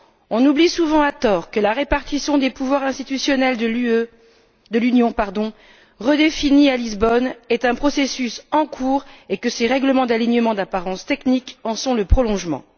On oublie souvent, à tort, que la répartition des pouvoirs institutionnels de l'Union redéfinie à Lisbonne est un processus en cours et que ces règlements d'alignement d'apparence technique en sont le prolongement.